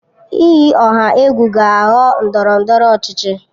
Iyi ọha egwu ga-aghọ ndọrọ ndọrọ ọchịchị